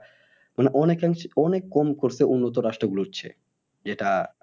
মানে অনেকে অনেক কম করছে উন্নত রাষ্ট্র গুলোর চেয়ে যেটা